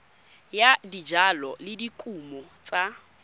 ya dijalo le dikumo tsa